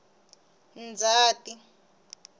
ndzati